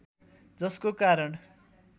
जसको कारण